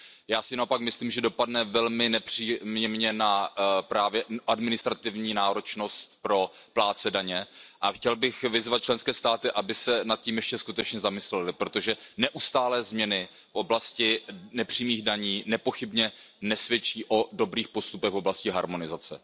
Já si naopak myslím, že dopadne velmi nepříjemně právě na administrativní náročnost pro plátce daně a chtěl bych vyzvat členské státy, aby se nad tím ještě skutečně zamyslely, protože neustálé změny v oblasti nepřímých daní nepochybně nesvědčí o dobrých postupech v oblasti harmonizace.